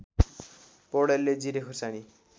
पौडेलले जिरे खुर्सानी